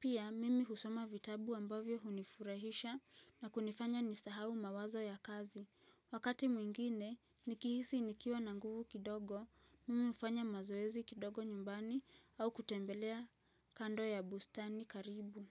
Pia mimi husoma vitabu ambavyo hunifurahisha na kunifanya nisahau mawazo ya kazi. Wakati mwingine nikihisi nikiwa na nguvu kidogo, mimi hufanya mazoezi kidogo nyumbani au kutembelea kando ya bustani karibu.